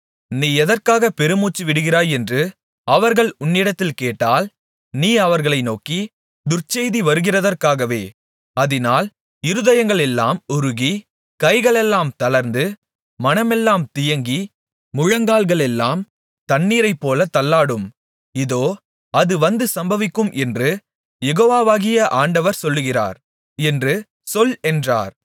நீ எதற்காக பெருமூச்சுவிடுகிறாய் என்று அவர்கள் உன்னிடத்தில் கேட்டால் நீ அவர்களை நோக்கி துர்ச்செய்தி வருகிறதற்காகவே அதினால் இருதயங்களெல்லாம் உருகி கைகளெல்லாம் தளர்ந்து மனமெல்லாம் தியங்கி முழங்கால்களெல்லாம் தண்ணீரைப்போல தள்ளாடும் இதோ அது வந்து சம்பவிக்கும் என்று யெகோவாகிய ஆண்டவர் சொல்லுகிறார் என்று சொல் என்றார்